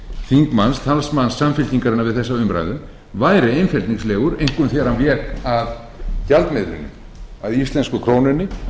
þingmanns talsmanns samfylkingarinnar við þessa umræðu væri einfeldningslegur einkum þegar hann vék að gjaldmiðlinum að íslensku krónunni